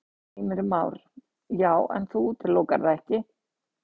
Heimir Már: Já, en þú útilokar það ekki?